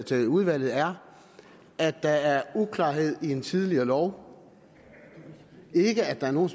til udvalget er at der er uklarhed i en tidligere lov det er ikke at der er nogen